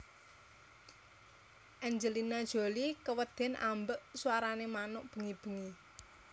Angelina Jolie keweden ambek swara manuk bengi bengi